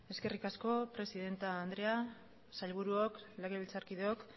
eskerrik asko presidente andrea sailburuok legebiltzarkideok